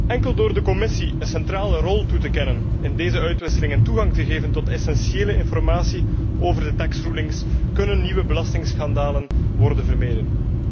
Alleen door de Commissie een centrale rol toe te kennen in deze uitwisseling en haar toegang te geven tot essentiële informatie over de fiscale rulings kunnen nieuwe belastingschandalen worden vermeden.